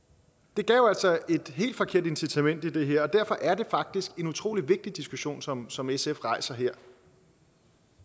det gav altså et helt forkert incitament i det her og derfor er det faktisk en utrolig vigtig diskussion som som sf rejser her